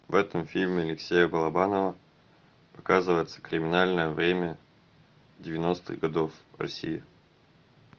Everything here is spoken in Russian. в этом фильме алексея балабанова показывается криминальное время девяностых годов в россии